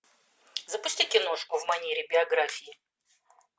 запусти киношку в манере биографии